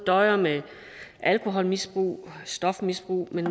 døjer med alkoholmisbrug og stofmisbrug men